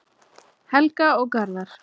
Helga og Garðar.